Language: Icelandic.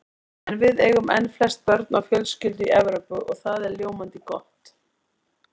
En við eigum enn flest börn á fjölskyldu í Evrópu og það er ljómandi gott.